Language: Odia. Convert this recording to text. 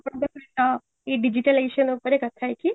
ଆପଣଙ୍କ ସହିତ ଏଇ digitalization ଉପରେ କଥା ହେଇକି